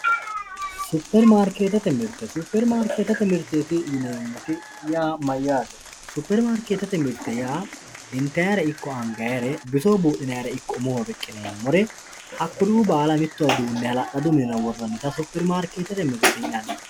superimaarikeettete mirte superimaarikeettete mirteeti yineemmoti yaa mayyaate superimaarikeettete mirte yaa intayiire ikko angayiiro bisoho buudhinayiire ikko umoho riqqineemmori hakkuri"uu baala mittowa duunne hala'ladu minira worraannita superimaarikeettete mirteeti yinanni